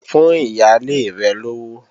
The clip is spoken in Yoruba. Fún ìyálé rẹ̀ lówó!